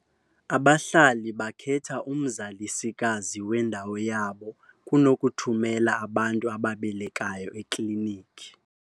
Abahlali bakhetha umzalisikazi wendawo yabo kunokuthumela abantu ababelekayo eklinikhini.